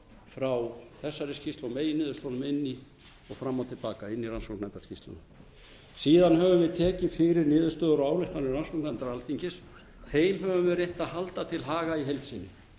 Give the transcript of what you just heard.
frá þessari skýrslu og meginniðurstöðunum fram og til baka inn í rannsóknarnefndarskýrsluna síðan höfum við tekið fyrir niðurstöður og ályktanir allsherjarnefndar alþingis þeim höfum við reynt að halda til haga í heild sinni